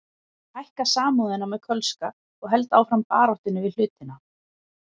Ég hækka Samúðina með Kölska og held áfram baráttunni við hlutina.